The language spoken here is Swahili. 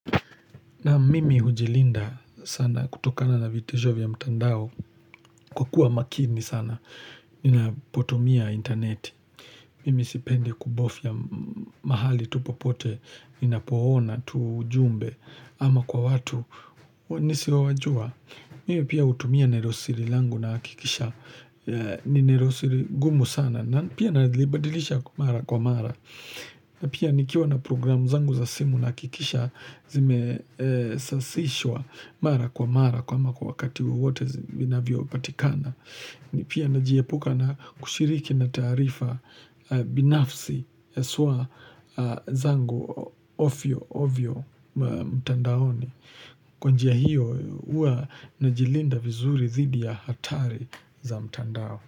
Na mimi hujilinda sana kutokana na vitejo vya mtandao kwa kuwa makini sana. Ninapotumia interneti. Mimi sipende kubofya mahali tupopote. Ninapo ona tujumbe ama kwa watu nisiowajua. Mimi pia utumia nerosiri langu na akikisha. Ninerosiri gumu sana. Pia nalibadilisha kumara kumara. Pia nikiwa na programu zangu za simu na akikisha. Zime safishwa mara kwa mara kama kwa wakati wewote zivina vio patikana ni pia na jiepuka na kushiriki na taarifa binafsi yaswa zangu ofyo ofyo mtandaoni kwanjia hiyo huwa na jilinda vizuri zidi ya hatari za mtandao.